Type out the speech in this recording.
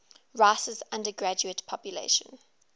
rice's undergraduate population